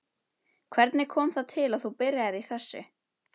Hvernig kom það til að þú byrjaðir í þessu?